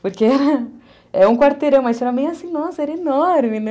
Porque é um quarteirão, mas para mim era assim, nossa, era enorme, né?